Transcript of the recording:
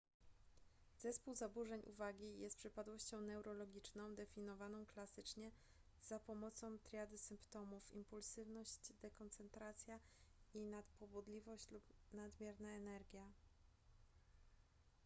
zespół zaburzeń uwagi jest przypadłością neurologiczną definiowaną klasycznie za pomocą triady symptomów impulsywność dekoncentracja i nadpobudliwość lub nadmierna energia